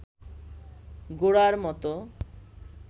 গোরার মতো